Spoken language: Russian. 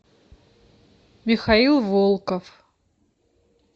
михаил волков